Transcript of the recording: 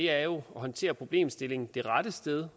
er jo at håndtere problemstillingen det rette sted